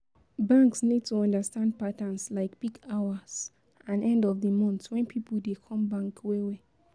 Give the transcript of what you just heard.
Banks need to understand patterns like peak hours and end of di month when pipo dey come bank well well